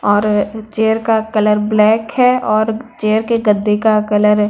और चेयर का colour black है और चेयर के गद्दे का कलर --